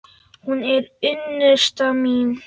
Hún er unnusta mín!